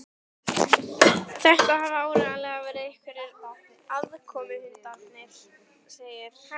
Þetta hafa áreiðanlega verið einhverjir aðkomuhundarnir segir